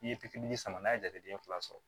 N'i ye pikiri sama n'a ye jateden fila sɔrɔ